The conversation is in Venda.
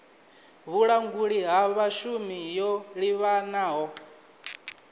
vhulanguli ha vhashumi yo livhanaho